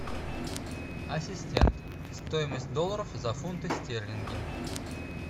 ассистент стоимость долларов за фунты стерлинги